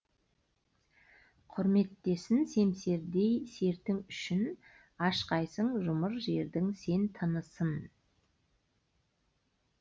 құрметтесін семсердей сертің үшін ашқайсың жұмыр жердің сен тынысын